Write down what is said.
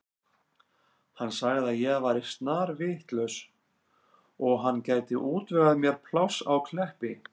Hann sagði að ég væri snarvitlaus og hann gæti útvegað mér pláss á Kleppi.